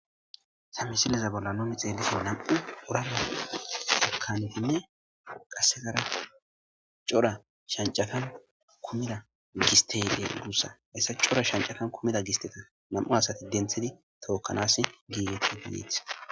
samisileza bolla nomi xeellisi nam7u urana akanfinne qassegara cora shancafan kumida gisteyde guussa hessa cora shancafan kumida gisteta nam7u asati denthidi tookkanas giigeti ginieth